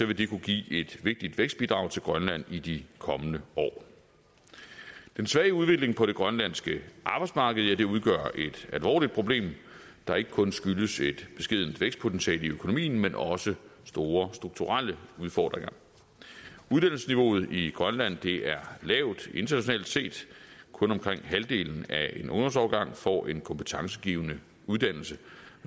vil det kunne give et vigtigt vækstbidrag til grønland i de kommende år den svage udvikling på det grønlandske arbejdsmarked udgør et alvorligt problem der ikke kun skyldes et beskedent vækstpotentiale i økonomien men også store strukturelle udfordringer uddannelsesniveauet i grønland er lavt internationalt set kun omkring halvdelen af en ungdomsårgang får en kompetencegivende uddannelse